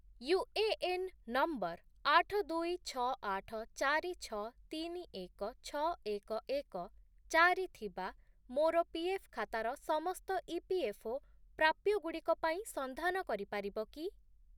UAN number ଆଠ, ଦୁଇ, ଛଅ, ଆଠ, ଚାରି, ଛଅ, ତିନି, ଏକ, ଛଅ, ଏକ, ଏକ, ଚାରି ଥିବା ମୋର ପିଏଫ୍ ଖାତାର ସମସ୍ତ ଇପିଏଫ୍ଓ ପ୍ରାପ୍ୟଗୁଡ଼ିକ ପାଇଁ ସନ୍ଧାନ କରିପାରିବ କି?